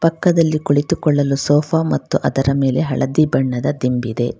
ಪಕ್ಕದಲ್ಲಿ ಕುಳಿತುಕೊಳ್ಳಲು ಸೋಫಾ ಮತ್ತು ಅದರ ಮೇಲೆ ಹಳದಿ ಬಣ್ಣದ ದಿಂಬಿದೆ.